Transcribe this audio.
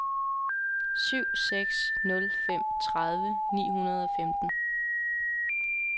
syv seks nul fem tredive ni hundrede og femten